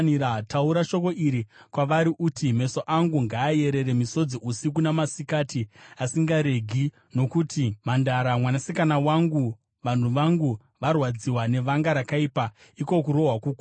“Taura shoko iri kwavari, uti, “ ‘Meso angu ngaayerere misodzi usiku namasikati asingaregi; nokuti mhandara mwanasikana wangu, vanhu vangu, vakuvadzwa vanga rakaipa, iko kurohwa kukuru.